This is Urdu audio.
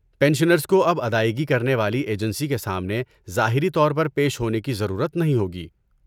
پنشنرز کو اب ادائیگی کرنے والی ایجنسی کے سامنے ظاہری طور پر پیش ہونے کی ضرورت نہیں ہوگی۔